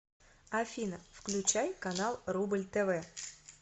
афина включай канал рубль тв